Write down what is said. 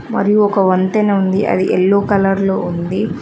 మరియు ఒక వంతెన ఉంది అది ఎల్లో కలర్ లో ఉంది.